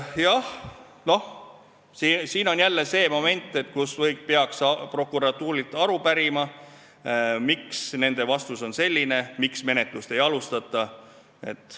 Jah, siin on jälle see moment, et peaks prokuratuurilt aru pärima, miks nende vastus on selline ja miks menetlust ei alustata.